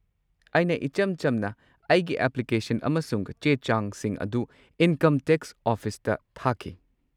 ꯑꯩꯅ ꯏꯆꯝ-ꯆꯝꯅ ꯑꯩꯒꯤ ꯑꯦꯄ꯭ꯂꯤꯀꯦꯁꯟ ꯑꯃꯁꯨꯡ ꯆꯦ-ꯆꯥꯡꯁꯤꯡ ꯑꯗꯨ ꯏꯟꯀꯝ ꯇꯦꯛꯁ ꯑꯣꯐꯤꯁꯇ ꯊꯥꯈꯤ꯫